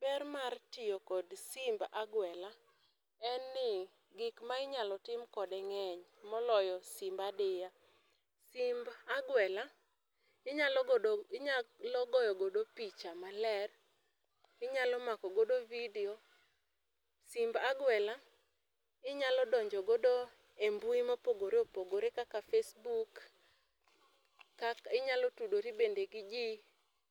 Ber mar tiyo kod simb aguela en ni gik ma inyalo tim kode ng'eny moloyo simb adiya. Simb aguela inyalo goyo godo picha maler, inyalo makogodo vidio, simb aguela inyalo donjo godo e mbui mopogore opogore kaka facebook, inyalo tudori bende gi ji